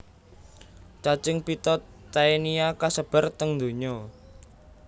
Cacing pita Taenia kasebar teng donya